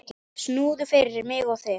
Snúður fyrir mig og þig.